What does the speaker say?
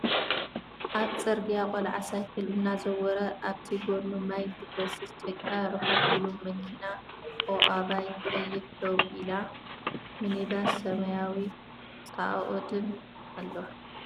ኣብ ፅርግያ ቆልዓ ሳይክል እናዘወረ ኣብቲ ጎኑ ማይ ዝፈስስ ጭቃ ርሕቅ ኢሉ ማኪና ኦኣባይ ቀያሕ ደዉ ኢላ ምኒባስ ስማያዊን ፃኦኣዱን ኣለዋ ።